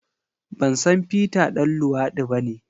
Ban san Peter ɗan luwadi bane.